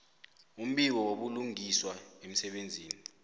umbiko wobulungiswa emsebenzini